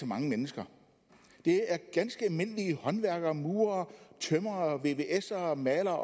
mange mennesker det er ganske almindelige håndværkere murere tømrere vvsere og malere